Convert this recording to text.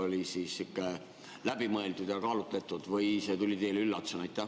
Oli see sihuke läbimõeldud ja kaalutletud või tuli see teile üllatusena?